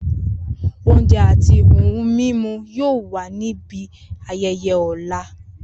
Ounje ati ohun mimu yoo wa ni ibi ayẹyẹ ọla.